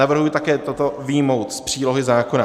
Navrhuji také toto vyjmout z přílohy zákona.